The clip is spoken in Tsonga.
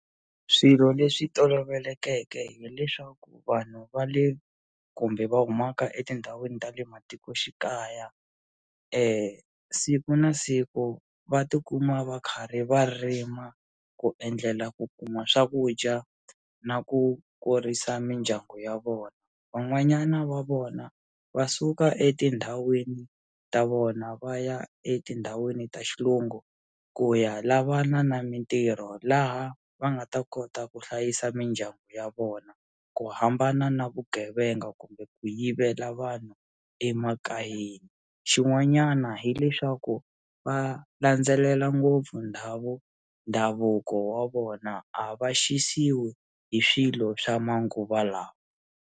Swilo leswi tolovelekeke hileswaku vanhu va le kumbe va humaka etindhawini ta le matikoxikaya siku na siku va tikuma va karhi va rima ku endlela ku kuma swakudya na ku kurisa mindyangu ya vona van'wanyana va vona va suka etindhawini ta vona va ya etindhawini ta xilungu ku ya lavana na mintirho laha va nga ta kota ku hlayisa mindyangu ya vona ku hambana na vugevenga kumbe ku yivela vanhu emakayeni xin'wanyana hileswaku va landzelela ngopfu ndhawu ndhavuko wa vona a va xisiwi hi swilo swa manguva lawa.